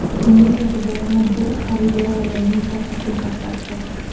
Uning e’tiborini bir xaridor ayolning katta sumkasi tortdi.